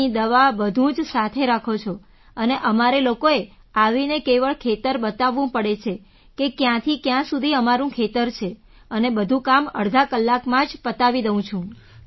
પાણી દવા બધું જ સાથે રાખો છો અને અમારે લોકોએ આવીને કેવળ ખેતર બતાવવું પડે છે કે ક્યાંથી ક્યાં સુધી મારું ખેતર છે અને બધું કામ અડધા કલાકમાં જ પતાવી દઉં છું